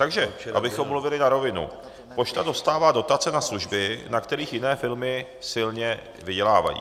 Takže abychom mluvili na rovinu, pošta dostává dotace na služby, na kterých jiné firmy silně vydělávají.